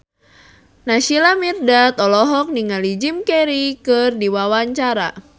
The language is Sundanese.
Naysila Mirdad olohok ningali Jim Carey keur diwawancara